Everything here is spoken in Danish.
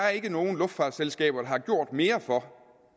er nogen luftfartsselskaber der har gjort mere for